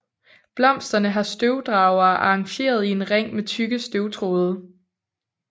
Blomsterne har støvdragerne arrangeret i en ring med tykke støvtråde